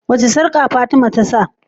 wace sarƙa fatima tasa?